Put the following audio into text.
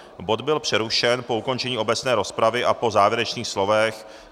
Bod byl přerušen po ukončení obecné rozpravy a po závěrečných slovech.